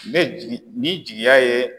N bɛ jigi ni jigiya ye.